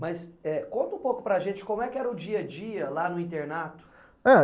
Mas eh conta um pouco para a gente como era o dia a dia lá no internato. Eh,